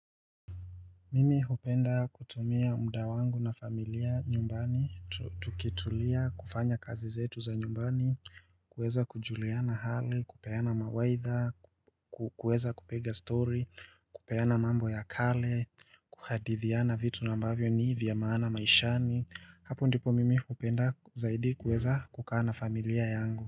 Mimi hupenda kutumia muda wangu na familia nyumbani, tukitulia, kufanya kazi zetu za nyumbani, kuweza kujuliana hali, kupeana mawaidha, kueza kupiga story, kupeana mambo ya kale, kuhadithiana vitu na ambavyo ni vya maana maishani. Hapo ndipo mimi hupenda zaidi kuweza kukaa na familia yangu.